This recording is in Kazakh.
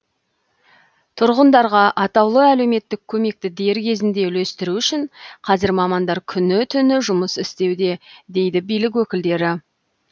тұрғындарға атаулы әлеуметтік көмекті дер кезінде үлестіру үшін қазір мамандар күні түні жұмыс істеуде дейді билік өкілдері